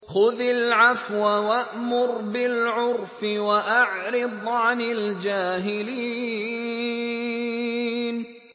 خُذِ الْعَفْوَ وَأْمُرْ بِالْعُرْفِ وَأَعْرِضْ عَنِ الْجَاهِلِينَ